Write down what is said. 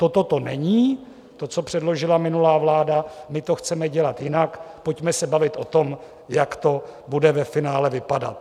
Toto to není, to, co předložila minulá vláda, my to chceme dělat jinak, pojďme se bavit o tom, jak to bude ve finále vypadat.